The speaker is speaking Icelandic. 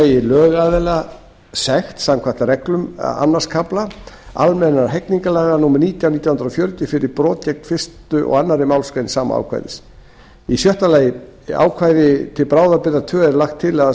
megi lögaðila sekt samkvæmt reglum annars kafla a almennra hegningarlaga númer nítján nítján hundruð fjörutíu fyrir brot gegn fyrstu og annarri málsgrein sama ákvæðis sjötti í ákvæði til bráðabirgða tveggja er lagt til að